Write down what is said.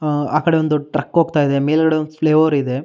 ಆಹ್ಹ್ ಆಕಡೆ ಒಂದ್ ದೊಡ್ಡ್ ಟ್ರಕ್ ಹೋಗ್ತಾಯಿದೆ ಮೇಲ್ಗಡೆ ಒಂದ್ ಫ್ಲೈಓವರ್ ಇದೆ.